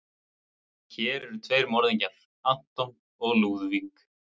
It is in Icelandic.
Hér eru tveir morðingjar, anton og Lúðvík.